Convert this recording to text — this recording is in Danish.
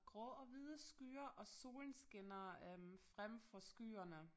Grå og hvide skyer og solen skinner øh frem fra skyerne